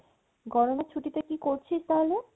গরমের ছুটিতে কি করছিস তাহলে?